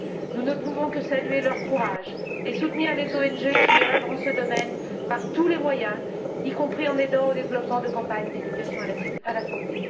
Nous ne pouvons que saluer leur courage et soutenir les ONG qui œuvrent dans ce domaine par tous les moyens, y compris en contribuant au développement de campagnes d'éducation à la santé.